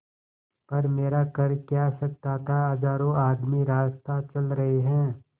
पर मेरा कर क्या सकता था हजारों आदमी रास्ता चल रहे हैं